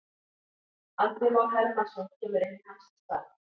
Andri Már Hermannsson kemur inn í hans stað.